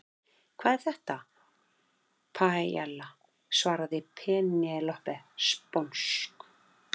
Hvað er þetta? Paiella, svaraði Penélope sponsk.